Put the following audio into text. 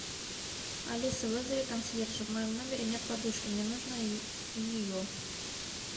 алиса вызови консьержа в моем номере нет подушки мне нужно ее